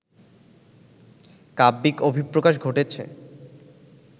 কাব্যিক অভিপ্রকাশ ঘটেছে